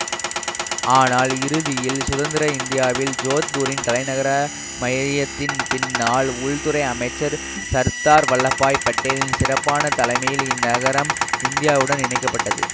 ஆனால் இறுதியில் சுதந்திர இந்தியாவில் ஜோத்பூரின் தலைநகர மையத்தின் பின்னால் உள்துறை அமைச்சர் சர்தார் வல்லபாய் பட்டேலின் சிறப்பான தலைமையில் இந்நகரம் இந்தியாவுடன் இணைக்க பட்டது